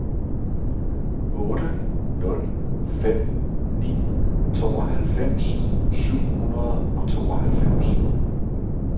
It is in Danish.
otte nul fem ni tooghalvfems syv hundrede og tooghalvfems